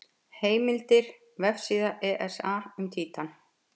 Heimildir: Vefsíða ESA um Títan.